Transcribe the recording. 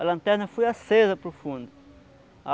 A lanterna foi acesa para o fundo.